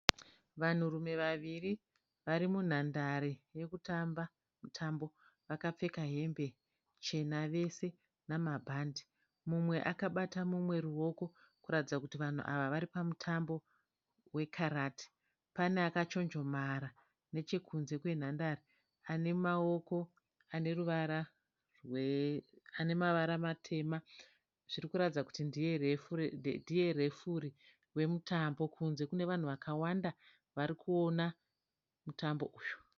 Vanhurume vaviri varimunhandare yekutamba mutambo vakapfeka hembe chena vose nemabhande mumwe akabata mumwe ruwoko kuratidza kuti vanhu ava varipamutambo wekarati.